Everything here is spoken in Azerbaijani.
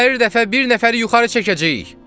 Hər dəfə bir nəfəri yuxarı çəkəcəyik!